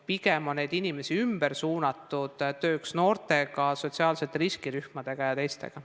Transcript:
Pigem on neid inimesi ümber suunatud tööks noortega, sotsiaalsete riskirühmadega ja teistega.